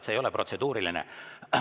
See ei ole protseduuriline.